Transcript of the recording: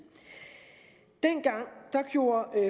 dengang gjorde